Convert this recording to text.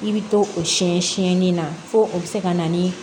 I bɛ to o siyɛn siyɛnni na fo o bɛ se ka na ni